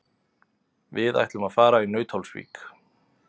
Við ætlum að fara í Nauthólsvík.